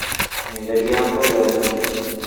Nyenderia mboga ĩno